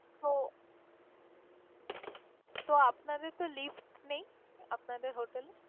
তো তো আপনাদের কি lift নেই আপনাদের hotel এ?